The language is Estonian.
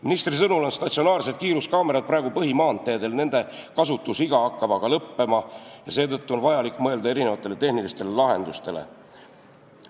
Ministri sõnul on statsionaarsed kiiruskaamerad praegu põhimaanteedel, nende kasutusiga hakkab aga lõppema ja seetõttu on vaja mõelda erinevatele tehnilistele lahendustele.